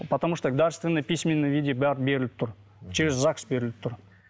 потому что дарственный писменным виде бәрі беріліп тұр через загс беріліп тұр